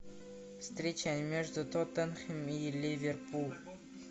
встреча между тоттенхэм и ливерпуль